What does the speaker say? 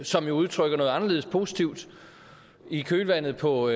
som jo udtrykker noget anderledes positivt i kølvandet på